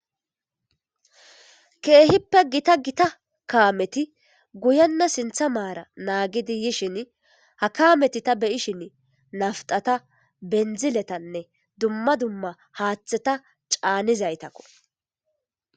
Keehippe gita gita kaameti guyenna sintha maara naagidi yishin ha kaameti ta beyishin naftata bendziletanne dumma dumma haaththeta caanizaytakko.